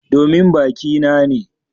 Domin baki na ne.